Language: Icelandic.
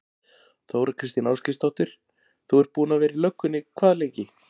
Þóra Kristín Ásgeirsdóttir: Þú ert búinn að vera í löggunni hvað lengi?